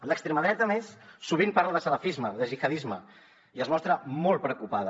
l’extrema dreta a més sovint parla de salafisme de gihadisme i es mostra molt preocupada